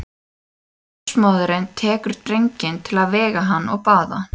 Ljósmóðirin tekur drenginn til að vega hann og baða.